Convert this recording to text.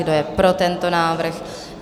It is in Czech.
Kdo je pro tento návrh?